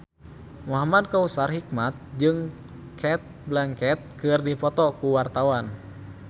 Muhamad Kautsar Hikmat jeung Cate Blanchett keur dipoto ku wartawan